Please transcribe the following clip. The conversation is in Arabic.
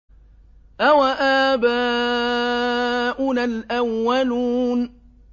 أَوَآبَاؤُنَا الْأَوَّلُونَ